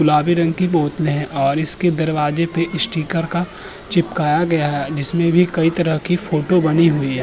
गुलाबी रंग बोतले हैं और इसके दरवाजे पे स्टीकर का चिपकाया गया है। इसमें कई तरह की फोटो बनी हुई है।